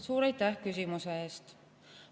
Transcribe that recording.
Suur aitäh küsimuse eest!